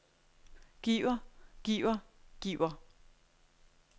giver giver giver